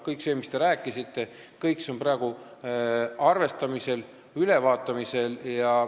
Kõik see, mis te rääkisite, on praegu ülevaatamisel ja arvestamisel.